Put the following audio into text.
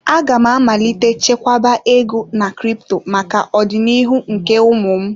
Aga m amalite chekwaba ego na crypto maka ọdịnihu nke ụmụ m.